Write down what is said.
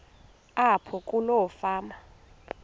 apho kuloo fama